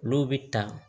Olu bɛ ta